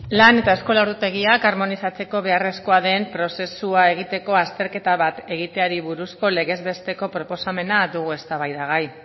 lan eta eskola ordutegiak harmonizatzeko beharrezko den prozesua egiteko azterketa bat egiteari buruzko legez besteko proposamena dugu eztabaidagai